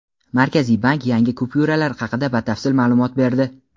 Markaziy bank yangi kupyuralar haqida batafsil ma’lumot berdi.